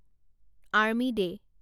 army day